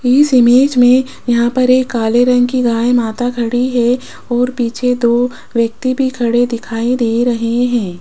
इस इमेज में यहां पर एक काले रंग की गाय माता खड़ी है और पीछे दो व्यक्ति भी खड़े दिखाई दे रहे हैं।